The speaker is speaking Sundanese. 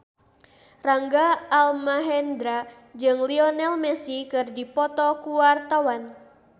Rangga Almahendra jeung Lionel Messi keur dipoto ku wartawan